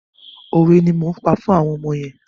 Òwe ni mò ń pa fún àwọn ọmọ yẹn.